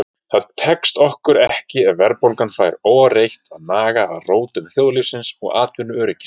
Það tekst okkur ekki ef verðbólgan fær óáreitt að naga að rótum þjóðlífsins og atvinnuöryggis.